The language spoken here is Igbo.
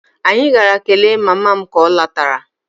Anyị gara kelee mama m ka ọ lọtara